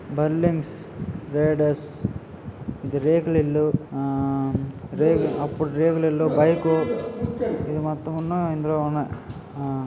Buildings roads ఇది రేకులిల్లు ఆ రేకు అప్పుడు రేకులిల్లు బైకు ఇది మొత్తంను ఉన్న ఇందులో ఉన్నయ్. ఆ